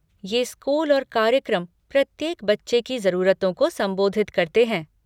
ये स्कूल और कार्यक्रम प्रत्येक बच्चे की ज़रूरतों को संबोधित करते हैं।